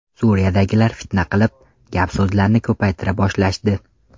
Suriyadagilar fitna qilib, gap-so‘zlarni ko‘paytira boshlashdi.